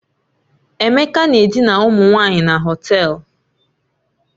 Emeka na-edina ụmụ nwanyị na Họtelu